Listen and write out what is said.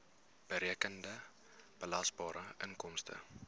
berekende belasbare inkomste